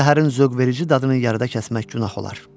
Bu zəhərin zövqverici dadını yarıda kəsmək günah olar.